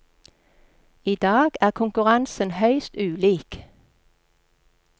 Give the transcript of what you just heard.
I dag er konkurransen høyst ulik.